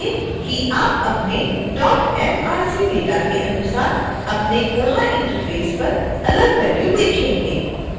ध्यान दें कि आप अपने mrcडेटा के अनुसार अपने koha interface पर अलग वैल्यू देखेंगे